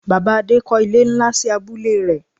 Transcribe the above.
Bàbá Adé kọ́ ilé nlá sí abúlé rẹ̀